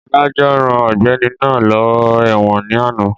Adájọ́ rán ọ̀gbẹ́ni náà lọ ẹ̀wọ̀n ní àná